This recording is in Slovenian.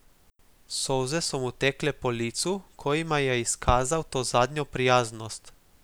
Solze so mu tekle po licu, ko jima je izkazal to zadnjo prijaznost.